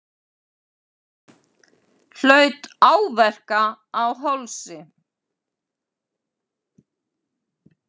Hlaut áverka á hálsi